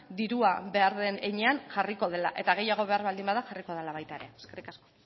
dirua behar den heinean jarriko dela eta gehiago behar baldin bada jarriko dela baita ere eskerrik asko